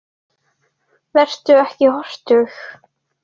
Vertu ekki hortug.